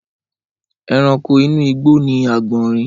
Ẹranko inú igbó ni agbọnrìn.